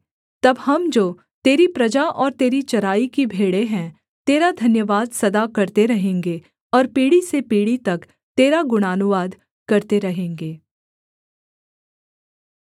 तब हम जो तेरी प्रजा और तेरी चराई की भेड़ें हैं तेरा धन्यवाद सदा करते रहेंगे और पीढ़ी से पीढ़ी तक तेरा गुणानुवाद करते रहेंगे